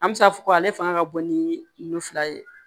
An bɛ se k'a fɔ ko ale fanga ka bon ni fila ye